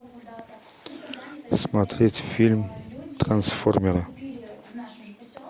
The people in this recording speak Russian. смотреть фильм трансформеры